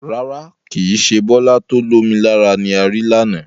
Rárá, kìí ṣe Bọlá to ó lomi lára ni ari lànà.